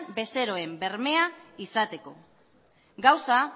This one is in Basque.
bezeroen bermea izateko gauza